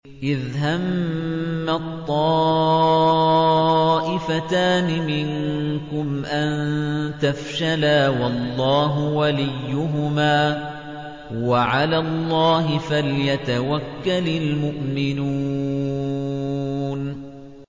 إِذْ هَمَّت طَّائِفَتَانِ مِنكُمْ أَن تَفْشَلَا وَاللَّهُ وَلِيُّهُمَا ۗ وَعَلَى اللَّهِ فَلْيَتَوَكَّلِ الْمُؤْمِنُونَ